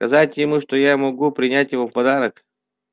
сказать ему что я могу принять его в подарок